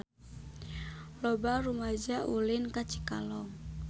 Loba rumaja ulin ka Cikalong